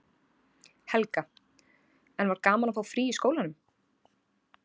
Helga: En var gaman að fá frí í skólanum?